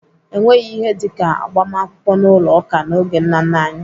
Enweghị ihe dịka agbamakwụkwọ n'ụlọ ụka n'oge nna nna anyị.